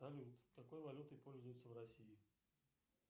салют какой валютой пользуются в россии